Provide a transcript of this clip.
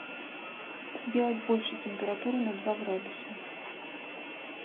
сделать больше температуру на два градуса